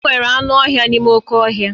Enwere anụ ọhịa n'ime oké ọhịa